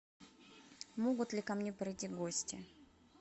могут ли ко мне придти гости